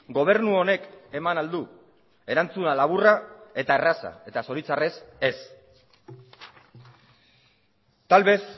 gobernu honek eman al du erantzuna laburra eta erraza eta zoritxarrez ez tal vez